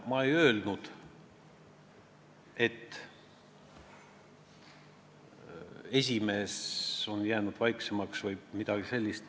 Ma ei öelnud, et nõukogu esimees on jäänud vaiksemaks või midagi sellist.